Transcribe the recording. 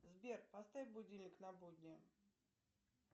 сбер поставь будильник на будни